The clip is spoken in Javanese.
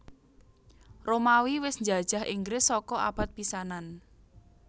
Romawi wis njajah Inggris saka abad pisanan